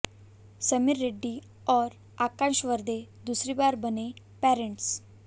समीर रेड्डी और आकाश वर्दे दूसरी बार बने पेरेंट्स